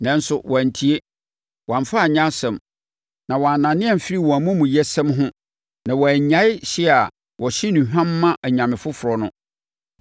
Nanso wɔantie. Wɔamfa anyɛ asɛm, na wɔannane amfiri wɔn amumuyɛsɛm ho na wɔannyae hye a wɔhye nnuhwam ma anyame foforɔ no.